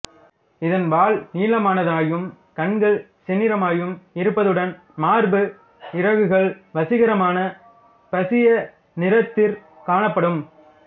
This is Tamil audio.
இதன் வால் நீளமானதாயும் கண்கள் செந்நிறமாயும் இருப்பதுடன் மார்பு இறகுகள் வசீகரமான பசிய நிறத்திற் காணப்படும்